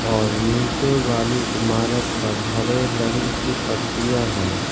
और नीचे वाले ईमारत पर हरे रंग की पट्टियां हैं।